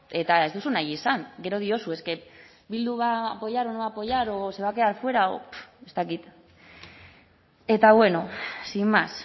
eta ez duzu nahi izan gero diozu es que bildu va a apoyar o no va a apoyar o se va a quedar fuera o ez dakit eta bueno sin más